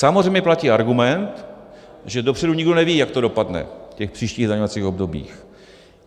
Samozřejmě platí argument, že dopředu nikdo neví, jak to dopadne v těch příštích zdaňovacích obdobích.